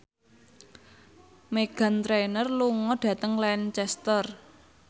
Meghan Trainor lunga dhateng Lancaster